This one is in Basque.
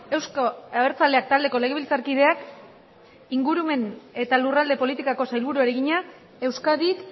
euzko abertzaleak taldeko legebiltzarkideak ingurumen eta lurralde politikako sailburuari egina euskadik